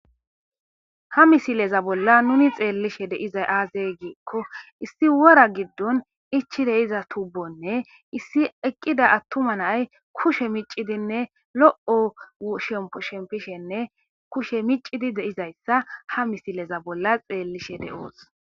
ha misileza bolla nuni xeellishe deizay aazey giikko issi wora giddon ichide iza tubonne issi eqqida attuma nay kushe micidinne lo7o shempo shempishenne kushe micidi deizayssa ha misileza bolla xeellishe de7oos